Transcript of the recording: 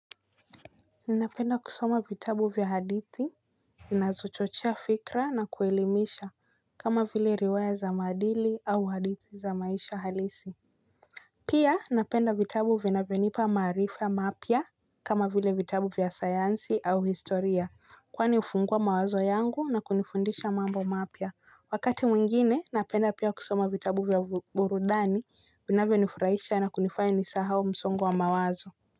Ninapenda kusoma vitabu vya hadithi. Zinazochochea fikra na kuelimisha kama vile riwaya za maadili au hadithi za maisha halisi. Pia napenda vitabu vinavyonipa maarifa mapya kama vile vitabu vya sayansi au historia. Kwani hufungua mawazo yangu na kunifundisha mambo mapya. Wakati mwingine napenda pia kusoma vitabu vya burudani vinavyonifurahisha na kunifanya nisahau msongo wa mawazo.